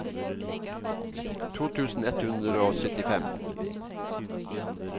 to tusen ett hundre og syttifem